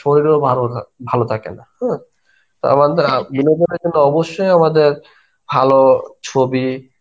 শরীরও ভালো থা~ ভালো থাকে না হ্যাঁ. আমাদের অবশ্যই আমাদের ভালো ছবি